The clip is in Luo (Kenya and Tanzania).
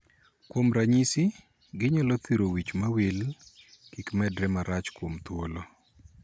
Kuom ranyisi, ginyalo thiro wich mawil kik medre marach kuom thuolo.